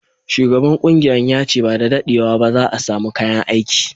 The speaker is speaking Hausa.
Shugaban kungiyan ya ce ba da daddewa ba za'a samu kayan aiki.